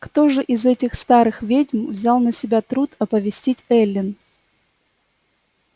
кто же из этих старых ведьм взял на себя труд оповестить эллин